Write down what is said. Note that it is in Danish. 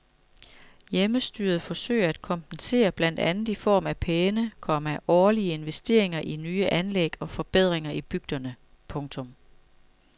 Hjemmestyret forsøger at kompensere blandt andet i form af pæne, komma årlige investeringer i nye anlæg og forbedringer i bygderne. punktum